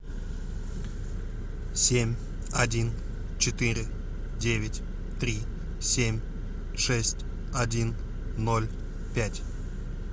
семь один четыре девять три семь шесть один ноль пять